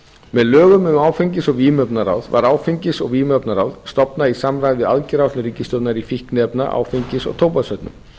með lögum um áfengis og vímuvarnaráð var áfengis og vímuvarnaráð stofnað í samræmi við aðgerðaáætlun ríkisstjórnarinnar í fíkniefna áfengis og tóbaksvörnum